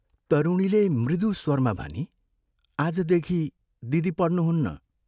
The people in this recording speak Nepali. तरुणीले मृदु स्वरमा भनी, "आजदेखि दिदी पढ्नुहुन्न।